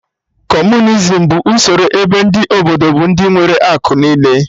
Kọmunizim bụ usoro ebe ndị Obodo bụ ndị nwere akụ niile